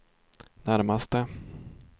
närmaste